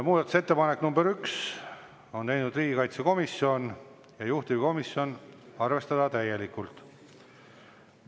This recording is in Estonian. Muudatusettepaneku nr 1 on teinud riigikaitsekomisjon, juhtivkomisjon: arvestada täielikult.